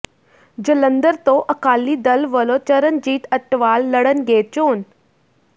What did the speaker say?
ਜਲੰਧਰ ਤੋਂ ਅਕਾਲੀ ਦਲ ਵੱਲੋਂ ਚਰਨਜੀਤ ਅਟਵਾਲ ਲੜਨਗੇ ਚੋਣ